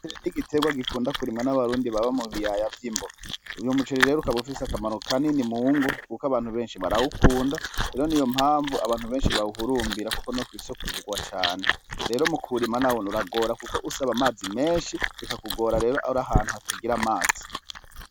Umuceri n'igiterwa gikunda kurimwa n'abarundi baba mubiyaya vy'imbo, uyo muceri rero ukabufise akamaro kanini mungo, kuko abantu benshi barawukunda, rero niyo mpamvu abantu benshi bawuhurumbira, kuko no kw'isoko uragurwa cane, rero mukuwurima nawone uragorana, kuko usaba amazi menshi bikakugora rero ari ahantu hatagira amazi.